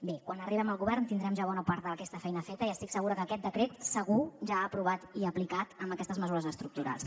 bé quan arribem al govern tindrem ja bona part d’aquesta feina feta i estic segura que aquest decret segur ja aprovat i aplicat amb aquestes mesures estructurals